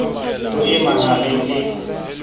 ho e maha reng e